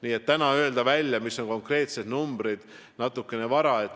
Nii et täna öelda välja, mis on konkreetsed numbrid, on natukene vara.